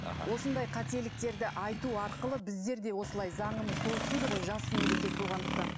аха осындай қателіктерді айту арқылы біздерде осылай заңымыз толықсиды ғой жас мемлекет болғандықтан